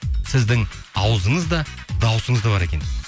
сіздің ауызыңыз да даусыңыз да бар екен дейді